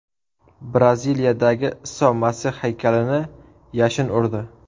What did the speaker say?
Braziliyadagi Iso Masih haykalini yashin urdi.